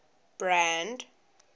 brand